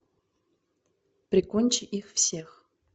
прикончи их всех